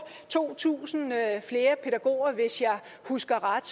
to tusind flere pædagoger hvis jeg husker ret